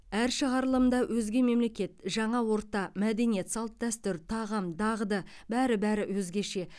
әр шығарылымда өзге мемлекет жаңа орта мәдениет салт дәстүр тағам дағды бәрі бәрі өзгеше